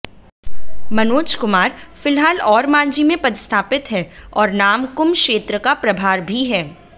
मनोज कुमार फिलहाल ओरमांझी में पदस्थापित हैं और नामकुम क्षेत्र का प्रभार भी है